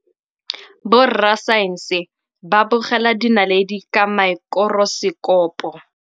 Borra saense ba bogela dinaledi ka maekorosekopo.